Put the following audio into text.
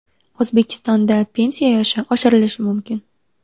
O‘zbekistonda pensiya yoshi oshirilishi mumkin .